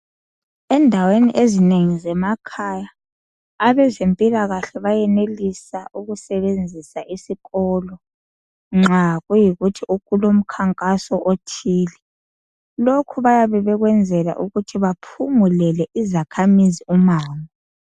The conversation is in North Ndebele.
Endaweni ezinengi zemakhaya abezempilakahle bayenelisa ukusebenzisa isikolo nxa kuyikuthi kulomkhankaso othile. Lokhu bayabe bekwenzela ukuthi baphungulele izakhamizi umango.